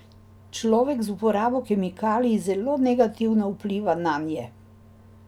Človek z uporabo kemikalij zelo negativno vpliva nanje.